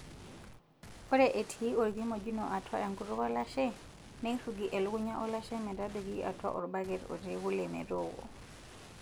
Ore etii orkimojino atwa enkutuk olashe, neirugii elukunya olashe metadoiki atwa orbaket otii kule metooko.